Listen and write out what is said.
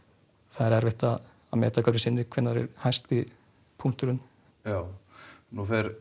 það er erfitt að meta hverju sinni hvenær það er hæsti punkturinn nú fer